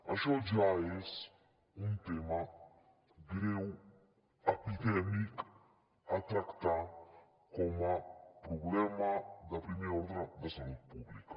això ja és un tema greu epidèmic a tractar com a problema de primer ordre de salut pública